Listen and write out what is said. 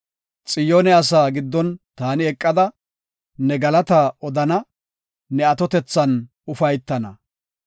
Xiyoone asaa giddon taani eqada, ne galataa odana; ne atotethan ufaytana.